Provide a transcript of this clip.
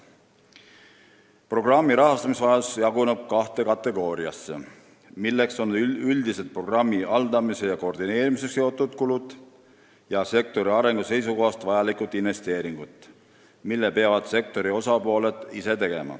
Programmi rahastamisvajadus jaguneb kahte kategooriasse, milleks on üldised programmi haldamise ja koordineerimisega seotud kulud ning sektori arengu seisukohast vajalikud investeeringud, mille peavad tegema sektori osalised ise.